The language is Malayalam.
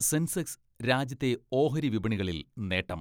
സെൻസെക്സ് രാജ്യത്തെ ഓഹരിവിപണികളിൽ നേട്ടം.